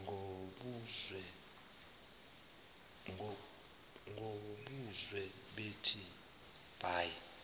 ngobuzwe bethi bayi